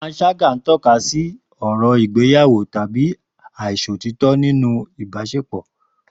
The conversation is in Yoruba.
Panṣágà ń tọ́ka sí ọ̀rọ̀ ìgbéyàwó tàbí àìṣòótọ́ nínú ìbáṣepọ̀.